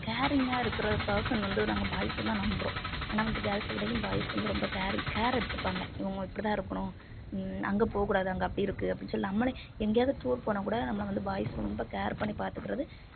caring ஆ இருக்கிற வந்து நாங்க boys அ தான் நம்புறோம் ஏன்னா வந்து girls விடவும் boys வந்து ரொம்ப care, care எடுத்துப்பாங்க இவங்க இப்படித்தான் இருக்கணும் உம் அங்கே போகக் கூடாது அங்கே அப்படி இருக்கு அப்படின்னு சொல்லி நம்மளே எங்கேயாவது tour போனாக்கூட நம்மளை வந்து boys ரொம்ப care பண்ணிப் பார்த்துக்கிறது